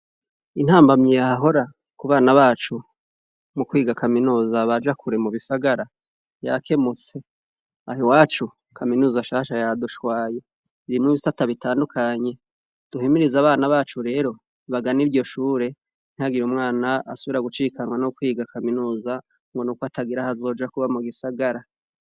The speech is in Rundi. Intambamyi yeahahora ku bana bacu mu kwiga kaminuza baja kure mu bisagara yake mutse aha i wacu kaminuza shasha yadushwaye irimwe ibisi ata bitandukanye duhimiriza abana bacu rero bagana iryo shure ntagira umwana asobira gucikanwa no kwiga kaminuza ngo nukaa agira hazoja kuba mu gisagara.